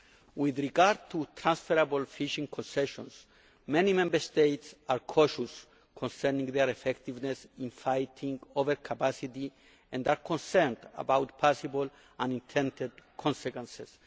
With regard to transferable fishing concessions, many Member States are cautious concerning their effectiveness in fighting over capacity and are concerned about possible unintended consequences.